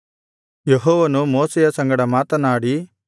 ಯೆಹೋವನು ಮೋಶೆಯ ಸಂಗಡ ಮಾತನಾಡಿ